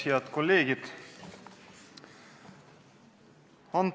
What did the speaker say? Head kolleegid!